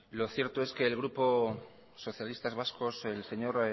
lo cierto es que el grupo socialistas vascos el señor